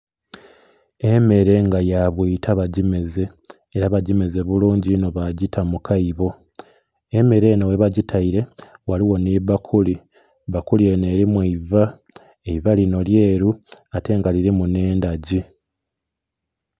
Emere nga ya bwita bagimeze era bagimeze bulungi inho ba gita mu kaaibo, emere enho ghe bagitaire ghaligho nho bbakuli, bbakuli enho erimu eiva, eiva linho lyeru ate nga lilimu nhe endhagi.